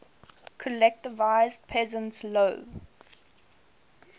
collectivized peasants low